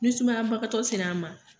Ni sumaya bakatɔ se la an ma.